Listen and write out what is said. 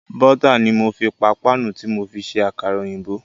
Bọ́tà ni mo fi pa páànù tí mo fi ṣe Àkàrà òyìnbó.